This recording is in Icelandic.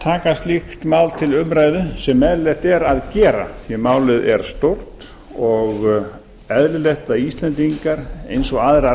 taka slíkt mál til umræðu sem eðlilegt er að gera því að málið er stórt og eðlilegt að íslendingar eins og aðrar